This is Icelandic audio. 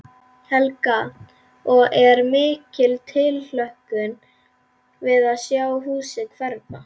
Helga: Og er mikil tilhlökkun við að sjá húsið hverfa?